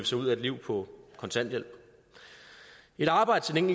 sig ud af et liv på kontanthjælp et arbejde til den